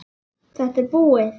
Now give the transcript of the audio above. Þetta er búið!